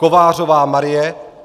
Kovářová Marie